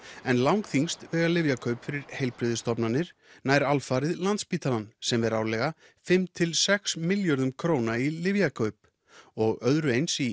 en langþyngst vega lyfjakaup fyrir heilbrigðisstofnanir nær alfarið Landspítalann sem ver árlega fimm til sex milljörðum króna í lyfjakaup og öðru eins í